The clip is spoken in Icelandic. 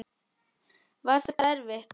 Var þetta erfitt?